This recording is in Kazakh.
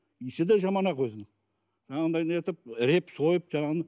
иісі де жаман ақ өзінің жаңағыдай нетіп іреп сойып жаңағыны